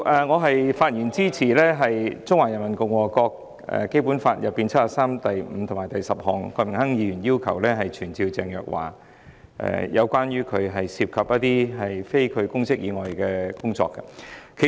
我發言支持郭榮鏗議員，根據《基本法》第七十三條第五項及第十項，動議傳召鄭若驊解說她涉及的非公職工作的議案。